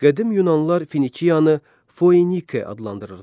Qədim yunanlılar Finikiyanı Foenike adlandırırdılar.